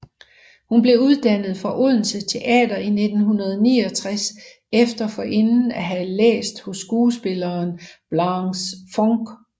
Hun blev uddannet fra Odense Teater i 1969 efter forinden at have læst hos skuespilleren Blanche Funch